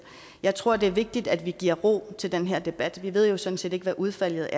jeg tror at det er vigtigt at vi giver ro til den her debat vi ved sådan set ikke hvad udfaldet